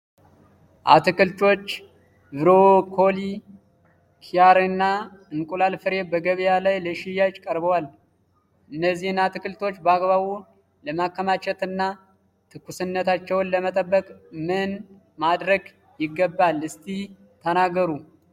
አትክልቶች (ብሮኮሊ፣ ኪያርና የእንቁላል ፍሬ) በገበያ ላይ ለሽያጭ ቀርበዋል። እነዚህን አትክልቶች በአግባቡ ለማከማቸትና ትኩስነታቸውን ለመጠበቅ ምን ማድረግ ይገባል እስኪ ተናገሩ?